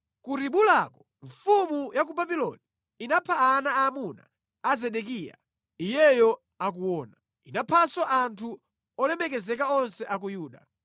Ku Ribulako, mfumu ya ku Babuloni inapha ana aamuna a Zedekiya iyeyo akuona. Inaphanso anthu olemekezeka onse a ku Yuda.